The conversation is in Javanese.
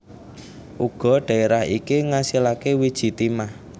Uga dhaerah iki ngasilake wiji timah